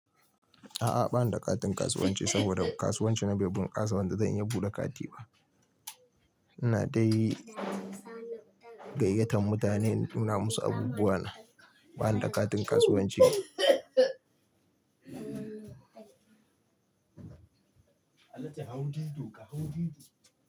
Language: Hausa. A'a bana da ƙatin kasuwanci saboda kasuwanci na bai bun ƙasa wanda zan iya buɗe kati ba. Ina dai gayyatan mutane in nuna musu abubuwa na. Bana da ƙatin kasuwanci. Alhaji hau dido ka hau didi.